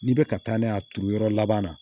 N'i bɛ ka taa n'a ye a turu yɔrɔ laban na